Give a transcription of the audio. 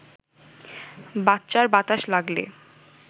বাচ্চার বাতাস লাগলে